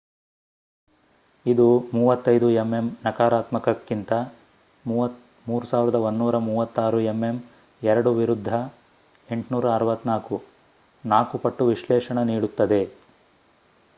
ಇದು 35 ಎಂಎಂ ನಕಾರಾತ್ಮಕಕ್ಕಿoತ 3136 ಎಂಎಂ 2 ವಿರುದ್ಧ864 4 ಪಟ್ಟು ವಿಶ್ಲೇಷಣ ನೀಡುತ್ತದೆ